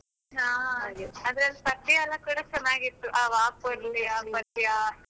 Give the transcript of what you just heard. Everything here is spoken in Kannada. ಹಾ ಅದರಲ್ಲಿ ಪದ್ಯ ಎಲ್ಲ ಕೂಡ ಚೆನ್ನಾಗಿತ್ತು ಆ ವಾ ಪೊರ್ಲುಯಾ ಪದ್ಯ.